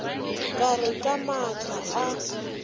ka re ka matla a